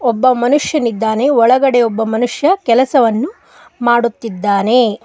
ಒಬ್ಬ ಮನುಷ್ಯನಿದ್ದಾನೆ ಒಳಗಡೆ ಒಬ್ಬ ಮನುಷ್ಯ ಕೆಲಸವನ್ನು ಮಾಡುತ್ತಿದ್ದಾನೆ.